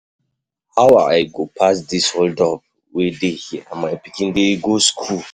How I go pass this hold up wey dey here and my pikin dey go school.